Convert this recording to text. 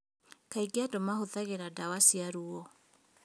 Kaingĩ andũ mahũthagĩra ndawa cia ruo